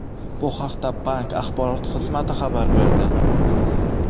Bu haqda bank axborot xizmati xabar berdi.